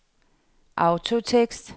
autotekst